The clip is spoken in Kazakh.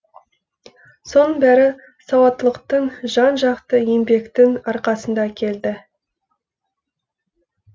соның бәрі сауаттылықтың жан жақты еңбектің арқасында келді